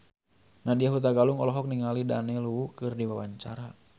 Nadya Hutagalung olohok ningali Daniel Wu keur diwawancara